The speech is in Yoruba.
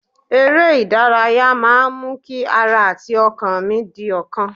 Eré ìdárayá máa ń mú kí ara àti ọkàn mí di ọ̀kan